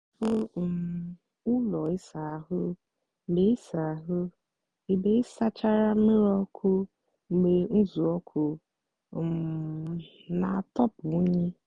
sáchápụ um úló ịsá áhụ́ mgbe ịsá áhụ́ mgbe ịsáchárá mmírí ọkụ mgbe uzuoku um nà-àtọpụ unyi.